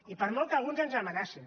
i per molt que a alguns ens amenacin